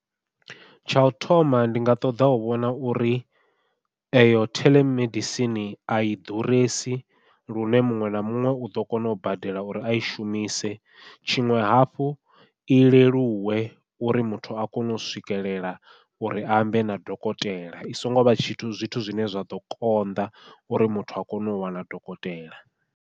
Tsha u thoma ndi nga ṱoḓa u vhona uri eyo theḽemedisini ai ḓuresi lune muṅwe na muṅwe uḓo kona u badela uri ai shumise, tshiṅwe hafhu i leluwe uri muthu a kone u swikelela uri ambe na dokotela i songo vha tshithu zwithu zwine zwa ḓo konḓa uri muthu a kone u wana dokotela.